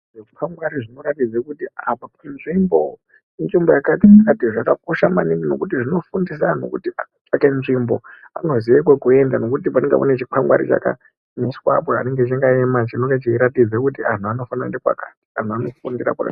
Zvikwangwari zvinoratidze kuti apa inzvimbo inzvimbo yakadini zvakakosha maningi nekuti zvinofundise antu kuti nzvimbo anoziye kwekuenda nekuti panenga pane chikwangwari Chakamiswapo chinengé chakàwma chenge cheiratidza kuti àntu anofanira kuenda kwaka antu anofundira kwaka.